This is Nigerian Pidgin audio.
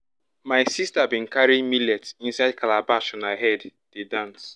my sister bin carry millet inside calabash on her head dey dance